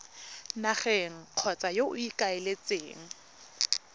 nageng kgotsa yo o ikaeletseng